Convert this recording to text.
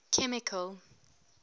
chemical